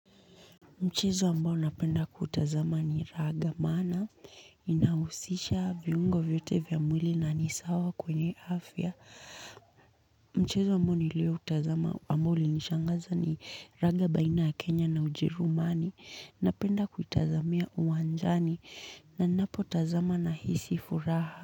Mchezo ambao napenda kuutazama ni raga maana inahusisha viungo vyote vya mwili na ni sawa kwenye afya. Mchezo ambao nilioutazama ambao ulinishangaza ni raga baina ya Kenya na Ujerumani napenda kuitazamia uwanjani na ninapotazama nahisi furaha.